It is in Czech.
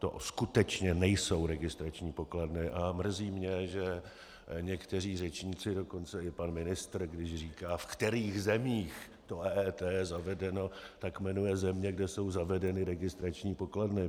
To skutečně nejsou registrační pokladny a mrzí mě, že někteří řečníci, dokonce i pan ministr, když říká v kterých zemích to EET je zavedeno, tak jmenuje země, kde jsou zavedeny registrační pokladny.